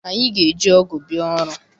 Anyị ga- eji ọgụ bịa ọrụ.